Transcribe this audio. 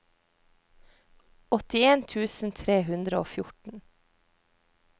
åttien tusen tre hundre og fjorten